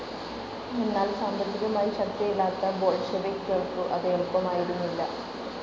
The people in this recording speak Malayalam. എന്നാൽ സാമ്പത്തികമായി ശക്തിയല്ലാത്ത ബോൾഷെവിക്ക്‌കേൾക്കു അതു എളുപ്പമായിരുന്നില്ല.